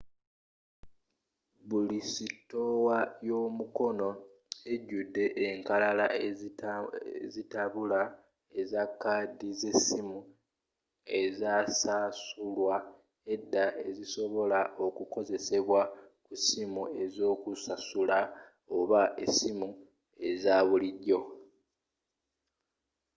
buli sitowa y'omukoona ejudde enkalala ezitabula eza kaadi z'essimu ezasasulwa edda ezisobola okukozesebwa ku ssimu ez'okusasula oba essimu eza bulijjo